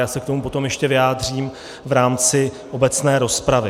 Já se k tomu potom ještě vyjádřím v rámci obecné rozpravy.